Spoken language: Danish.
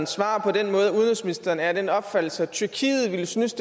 svar på den måde at udenrigsministeren er af den opfattelse at tyrkiet ville synes